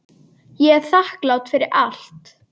Ég er þakklát fyrir allt.